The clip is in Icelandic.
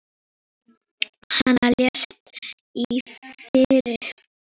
Hann lést í fyrra.